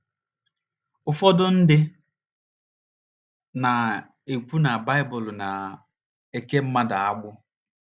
Ụfọdụ ndị na - ekwu na Baịbụl na - eke mmadụ agbụ.